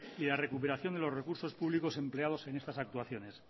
y la recuperación de los recursos públicos empleados en estas actuaciones